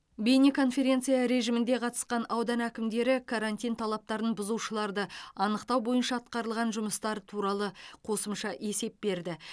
бейнеконференция режимінде қатысқан аудан әкімдері карантин талаптарын бұзушыларды анықтау бойынша атқарылған жұмыстар туралы қосымша есеп берді